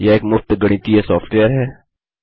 यह एक मुफ्त गणितीय सॉफ्टवेयर है